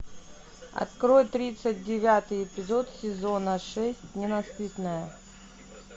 открой тридцать девятый эпизод сезона шесть ненасытная